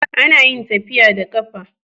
Anayin tafiya da qafa